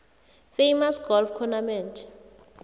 famous golf tournament